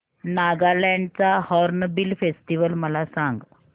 नागालँड चा hornbill festival मला सांग